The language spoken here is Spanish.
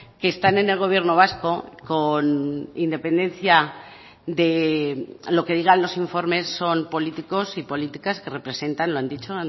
que están en el gobierno vasco con independencia de lo que digan los informes son políticos y políticas que representan lo han dicho